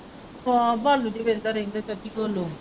ਵੇਖਦਾ ਰਹਿੰਦਾ ਚਾਚੀ .